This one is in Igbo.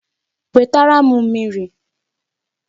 Wetara m mmiri!